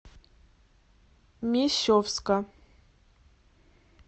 мещовска